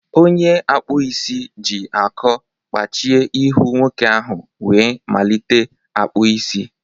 Onye akpụ isi ji akọ kpachie ihu nwoke ahụ wee malite akpụ isi.